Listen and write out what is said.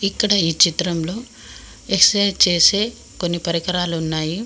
ఇక్కడ ఈ చిత్రంలో ఎక్సర్సైజ్ చేసే కొన్ని పరికరాలు ఉన్నాయి.